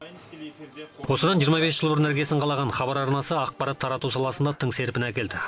осыдан жиырма бес жыл бұрын іргесін қалаған хабар арнасы ақпарат тарату саласында тың серпін әкелді